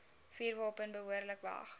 vuurwapen behoorlik weg